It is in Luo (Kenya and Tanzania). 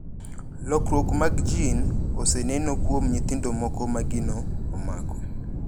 Lokruok mag jin oseneno kuom nyithindo moko magino omako.